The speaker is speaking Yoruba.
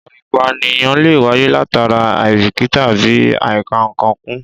Ìwà ìpànìyàn lè wáyé látara àìbíkítà àbí àìkà-ǹkan kún